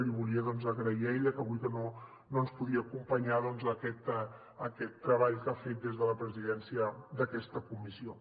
i li volia agrair a ella ja que avui no ens podia acompanyar aquest treball que ha fet des de la presidència d’aquesta comissió